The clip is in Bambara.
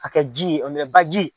Ka kɛ ji ye baji.